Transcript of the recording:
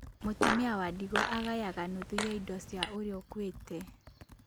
Mũtumia wa ndigwa agayaga nuthu ya indo cia ũrĩa ũkuĩte.